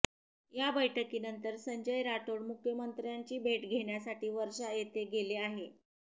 या बैठकीनंतर संजय राठोड मुख्यमंत्र्यांची भेट घेण्यासाठी वर्षा येथे गेले आहे